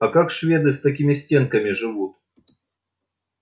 а как шведы с такими стенками живут